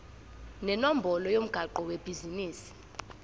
nenombolo yomgwaqo webhizinisi